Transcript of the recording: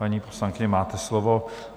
Paní poslankyně, máte slovo.